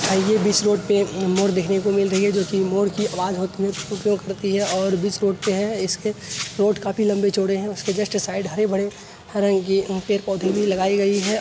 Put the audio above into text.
Highway बीच road पे एक मोर देखने को मिल रही है जो की मोर की आवाज होती है कुहु-कुहु करती है और बीच रोड पे है| इसके रोड काफ़ी लम्बे-चौड़े हैं| उसके जस्ट साइड हरे-भरे रंग की पेड़-पौधे भी लगाई गई है।